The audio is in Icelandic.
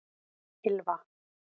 Ylfa